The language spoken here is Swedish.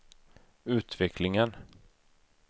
utvecklingen